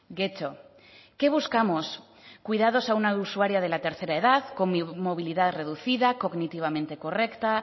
getxo qué buscamos cuidados a una usuaria de la tercera edad con movilidad reducida cognitivamente correcta